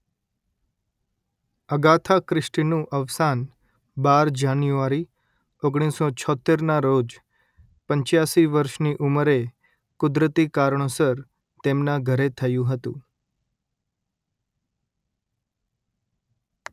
Agatha ક્રિસ્ટીનું અવસાન બાર જાન્યુઆરી ઓગણીસો છોત્તેરના રોજ પંચ્યાસી વર્ષની ઉંમરે કુદરતી કારણોસર તેમના ઘરે થયું હતું